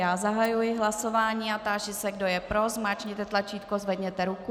Já zahajuji hlasování a táži se, kdo je pro, zmáčkněte tlačítko, zvedněte ruku.